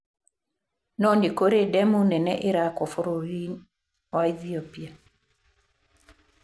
No nĩ kũrĩ ndemu nene ĩraakwo bũrũri wa Ethiopia.